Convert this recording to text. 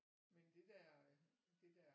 Men det der det der